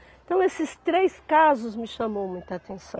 Então, esses três casos me chamou muita atenção.